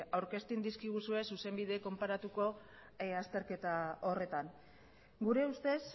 aurkezten dizkiguzue zuzenbide konparatuko azterketa horretan gure ustez